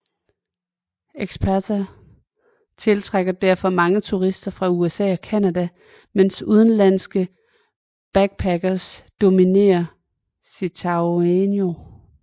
Ixtapa tiltrækker derfor mange turister fra USA og Canada mens udenlandske backparkers dominere Zihuatanejo